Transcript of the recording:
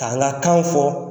Ka an ka kakanw fɔ